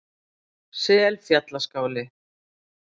Selfjallaskála